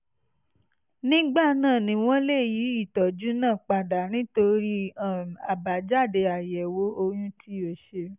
nígbà náà ni wọ́n lè yí ìtọ́jú náà padà nítorí um àbájáde àyẹ̀wò ọyún tí o ṣe